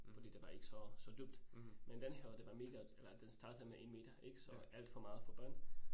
Fordi det var ikke så så dybt. Men denne her år det var mega eller den startede med 1 meter ik, så alt for meget for børn